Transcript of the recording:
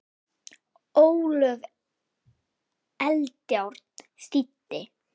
Ólöf Eldjárn þýddi.